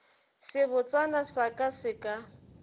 sebotsana sa ka se ka